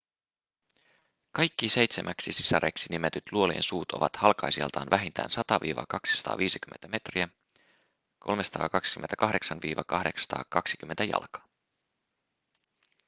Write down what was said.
kaikki seitsemäksi sisareksi nimetyt luolien suut ovat halkaisijaltaan vähintään 100–250 metriä 328–820 jalkaa